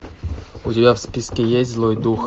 у тебя в списке есть злой дух